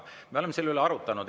Me oleme selle üle arutanud.